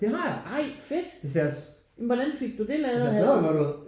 Det har jeg. Det ser det ser smaddergodt ud